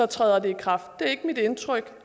træder i kraft det er ikke mit indtryk